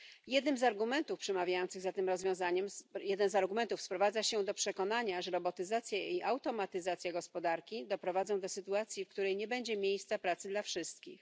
Jeden z argumentów przemawiających za tym rozwiązaniem sprowadza się do przekonania, że robotyzacja i automatyzacja gospodarki doprowadzą do sytuacji, w której nie będzie miejsc pracy dla wszystkich.